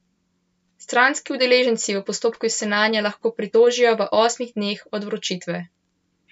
Stranski udeleženci v postopku se nanjo lahko pritožijo v osmih dneh od vročitve.